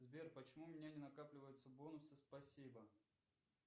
сбер почему у меня не накапливаются бонусы спасибо